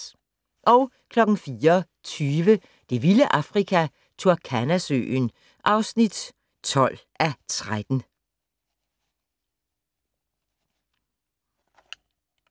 04:20: Det vilde Afrika - Turkana-søen (12:13)